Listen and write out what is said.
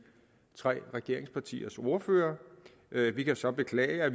tre regeringspartiers ordførere vi kan så beklage at